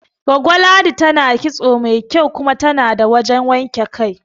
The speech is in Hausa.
Goggo Ladi tana kitso masu kyau kuma tana da wajan wanke kai